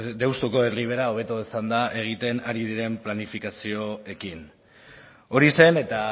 deustuko erribera hobeto esanda egiten ari diren planifikazioekin hori zen eta